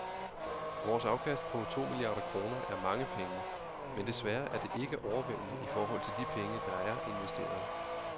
Vores afkast på to milliarder kroner er mange penge, men desværre er det ikke overvældende i forhold til de penge, der er investeret.